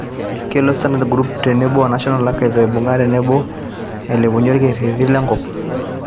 kelo starndard group teebo o National achives aibung'a tenebo eilepunye olkereti le nkop